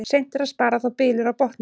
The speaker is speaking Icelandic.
Seint er að spara þá bylur á botni.